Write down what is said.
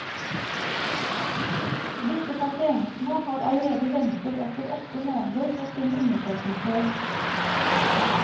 Disse pasientene har allerede ventet opptil åtte måneder på sine undersøkelser.